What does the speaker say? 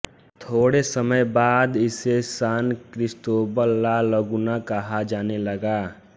थोड़े समें बाद इसे सान क्रिसतोबल ला लगुना कहा जाने लगा